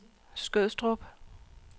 Skødstrup